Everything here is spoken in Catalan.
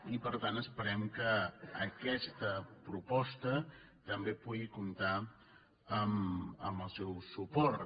i per tant esperem que aquesta proposta també pugui comptar amb el seu suport